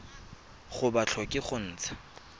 ga ba tlhoke go ntsha